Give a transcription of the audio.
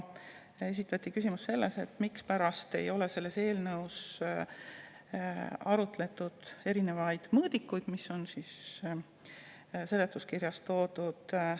Esitati küsimus ka selle kohta, mispärast ei ole selles eelnõus arutatud erinevaid mõõdikuid, mis on seletuskirjas toodud.